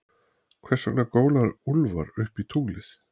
Hversvegna góla úlfar upp í tunglið?